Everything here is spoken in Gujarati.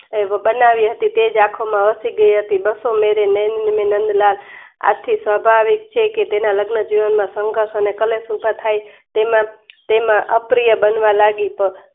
એમ બનાવી હતી તેજ આંખમાં વાસી ગઈ હતી બસોમેરે નેણની નંદલાલ આખી સ્વભાવિક છે કે તેના લગ્ન જીવન માં સઁધર્સ અને કલેસ ઉભા થાય તેમાં તેમાં અપ્રિય બનવા લાગી તો